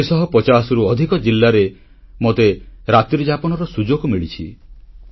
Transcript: ଚାରିଶହ ପଚାଶରୁ ଅଧିକ ଜିଲ୍ଲାରେ ମୋତେ ରାତ୍ରିଯାପନର ସୁଯୋଗ ମିଳିଛି